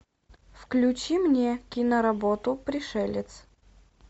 включи мне киноработу пришелец